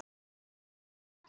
Hvað þýða sagnir?